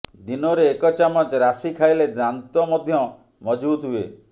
ଦିନରେ ଏକ ଚାମଚ ରାଶି ଖାଇଲେ ଦାନ୍ତ ମଧ୍ୟ ମଜଭୁତ ହୁଏ